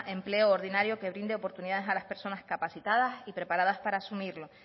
empleo ordinario que brinde oportunidad a las personas discapacitadas y preparadas para asumirlo